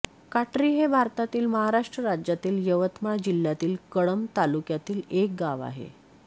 काटरी हे भारतातील महाराष्ट्र राज्यातील यवतमाळ जिल्ह्यातील कळंब तालुक्यातील एक गाव आहे